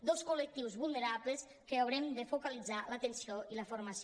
dos col·lectius vulnerables que haurem de focalitzar l’atenció i la formació